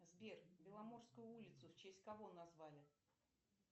сбер беломорскую улицу в честь кого назвали